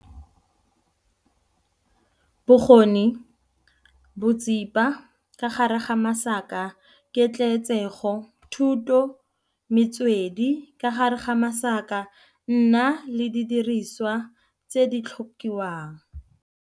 Bokgoni, botsipa, ka gare ga masaka, ketleetsego, Thuto, Metswedi, ka gare ga masaka, nna le didiriswa tse di tlhokiwang.